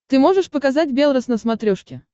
ты можешь показать белрос на смотрешке